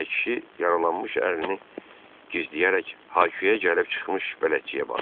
deyə kişi yaralanmış əlini gizləyərək haquyə gəlib çıxmış bələdçiyə baxdı.